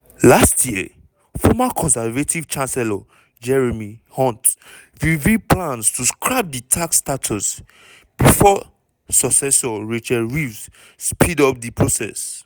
last year former conservative chancellor jeremy hunt reveal plans to scrap di tax status before successor rachel reeves speed up di process.